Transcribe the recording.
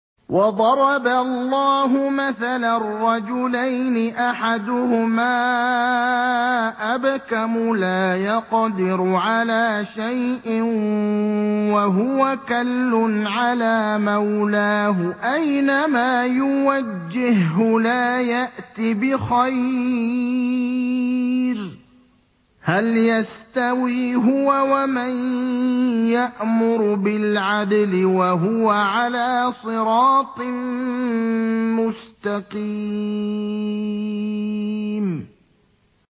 وَضَرَبَ اللَّهُ مَثَلًا رَّجُلَيْنِ أَحَدُهُمَا أَبْكَمُ لَا يَقْدِرُ عَلَىٰ شَيْءٍ وَهُوَ كَلٌّ عَلَىٰ مَوْلَاهُ أَيْنَمَا يُوَجِّههُّ لَا يَأْتِ بِخَيْرٍ ۖ هَلْ يَسْتَوِي هُوَ وَمَن يَأْمُرُ بِالْعَدْلِ ۙ وَهُوَ عَلَىٰ صِرَاطٍ مُّسْتَقِيمٍ